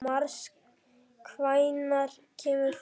Mars, hvenær kemur fimman?